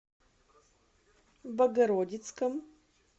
богородицком